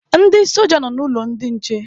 Ndị soja nọ n'ụlọ ndị nche